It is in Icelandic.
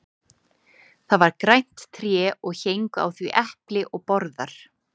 það var grænt tré og héngu á því epli og borðar